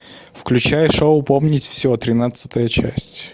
включай шоу помнить все тринадцатая часть